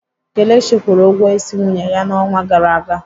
Kelechi kwụrụ ụgwọ ịsị nwunye ya n'ọnwa gara aga.